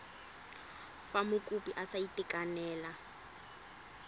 fa mokopi a sa itekanela